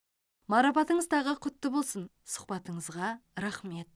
марапатыңыз тағы құтты болсын сұхбатыңызға рахмет